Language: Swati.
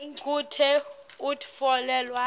kute utfole lwati